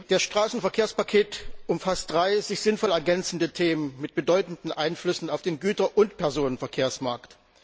Das Straßenverkehrspaket umfasst drei sich sinnvoll ergänzende Themen, mit bedeutenden Einflüssen auf den Güter und Personenverkehrsmarkt.